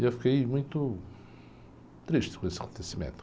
E eu fiquei muito triste com esse acontecimento.